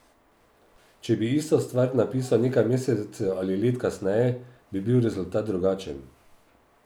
Če bi isto stvar napisal nekaj mesecev ali let kasneje, bi bil rezultat drugačen.